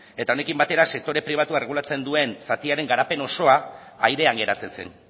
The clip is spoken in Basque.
eta honekin batera sektore pribatua erregulatzen duen zatiaren garapen osoa airean geratzen zen